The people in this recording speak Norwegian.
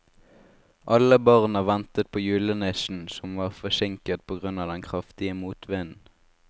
Alle barna ventet på julenissen, som var forsinket på grunn av den kraftige motvinden.